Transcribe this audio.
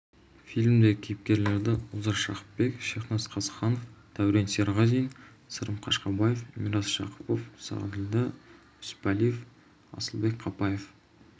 фильмдегі кейіпкерлерді олжас жақыпбек шехназ қызыханов дәурен серғазин сырым қашқабаев мирас жақыпов сағаділдә үсіпалиев асылбек қапаев